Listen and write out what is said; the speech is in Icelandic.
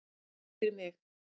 Ekki fyrir mig